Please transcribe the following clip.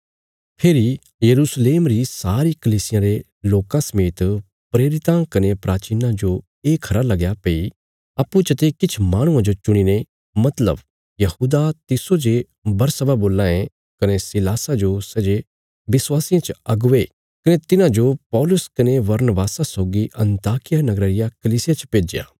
फेरी यरूशलेम री सारी कलीसियां रे लोकां समेत प्रेरितां कने प्राचीनां जो ये खरा लगया भई अप्पूँ चते किछ माहणुआं जो चुणीने मतलब यहूदा तिस्सो जे बरसब्बा बोलां ये कने सीलासा जो सै जे विश्वासियां च अगुवे कने तिन्हांजो पौलुस कने बरनबासा सौगी अन्ताकिया नगरा रिया कलीसिया च भेज्या